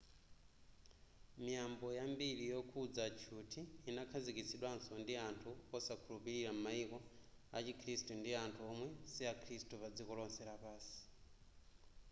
miyambo yambiri yokhudza tchuthi inakhazikitsidwanso ndi anthu osakhulupilira mu maiko a chikhirisitu ndi anthu omwe si akhirisitu padziko lonse lapansi